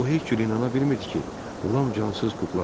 O heç cür inana bilmirdi ki, Lam cansız kukladır.